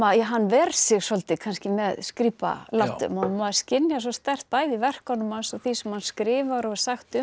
hann ver sig svolítið með skrípalátum og maður skynjar svo sterkt bæði í verkunum hans og því sem hann skrifar og er sagt um